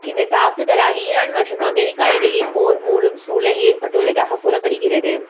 இந்த தாக்குதலால் ஈரான் மற்றும் அமெரிக்கா இடையே போர் மூளும் சூழல் ஏற்பட்டுள்ளதாக கூறப்படுகிறது